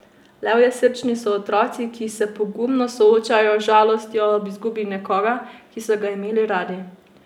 Levjesrčni so otroci, ki se pogumno soočajo z žalostjo ob izgubi nekoga, ki so ga imeli radi.